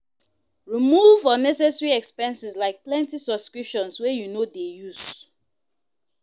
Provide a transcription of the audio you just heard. Remove unnecessary expenses like plenty subscriptions wey you no dey use.